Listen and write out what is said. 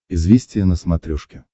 известия на смотрешке